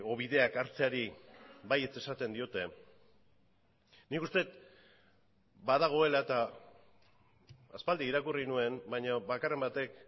bideak hartzeari baietz esaten diote nik uste dut badagoela eta aspaldi irakurri nuen baina bakarren batek